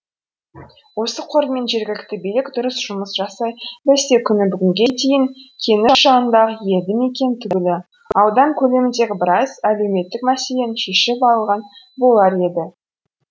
осы қормен жергілікті билік дұрыс жұмыс жасай білсе күні бүгінге дейін кеніш жанындағы елді мекен түгілі аудан көлеміндегі біраз әлеуметтік мәселені шешіп алған болар еді